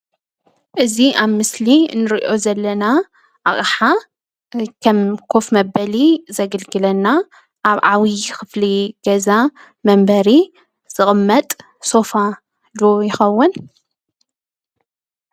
እዚ ኣብ ምስሊ እንርእዮ ዘለና ኣቕሓ ንከም ኾፍ መበሊ ዘገልግለና ኣብ ዓብዪ ኽፍሊ ገዛ መንበሪ ዝቕመጥ ሶፋ ዶ ይኸውን?